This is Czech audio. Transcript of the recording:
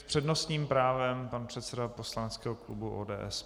S přednostním právem pan předseda poslaneckého klubu ODS.